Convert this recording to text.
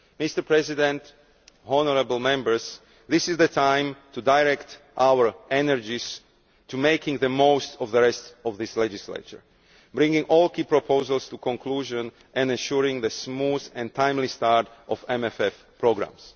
Mr President, honourable Members, this is the time to direct our energies towards making the most of the rest of this legislature, bringing all key proposals to conclusion and ensuring the smooth and timely start of MMF programmes.